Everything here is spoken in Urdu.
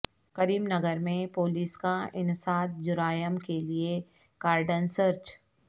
کریم نگر میں پولیس کا انسداد جرائم کیلئے کارڈن سرچ